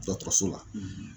Dɔtɔrɔso la